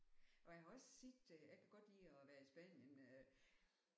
Og jeg har også set jeg kan godt lide at være i Spanien øh